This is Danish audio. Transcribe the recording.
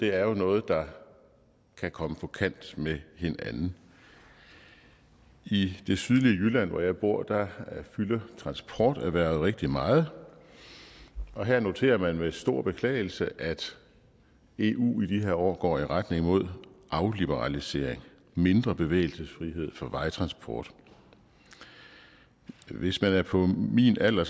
er jo noget der kan komme på kant med hinanden i det sydlige jylland hvor jeg bor fylder transporterhvervet rigtig meget og her noterer man med stor beklagelse at eu i de her år går i retning mod afliberalisering mindre bevægelsesfrihed for vejtransport hvis man er på min alder